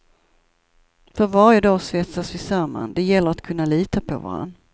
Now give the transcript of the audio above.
För varje dag svetsas vi samman; det gäller att kunna lita på varann.